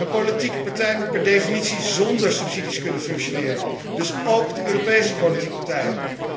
Een politieke partij moet per definitie zonder subsidies kunnen functioneren, dus óók de Europese politieke partijen.